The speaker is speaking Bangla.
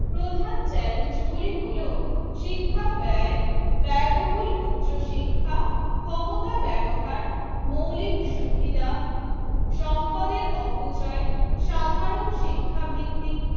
প্রধান চ্যালেঞ্জ গুলি হলো, শিক্ষা ব্যায়, ব্যায়বহুল উচ্চ শিক্ষা, ক্ষমতা ব্যবহার, মৌলিক সুবিধা, সম্পদের অপচয়, সাধারণ শিক্ষাভিত্তিক